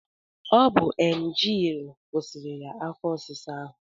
Ọ bu emgyl kwụsịrị ya afọ ọsịsa ahụ